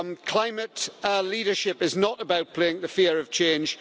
Climate leadership is not about playing to the fear of change.